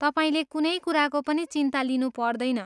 तपाईँले कुनै कुराको पनि चिन्ता लिनु पर्दैन।